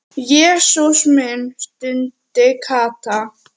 Jesús minn stundi Kata.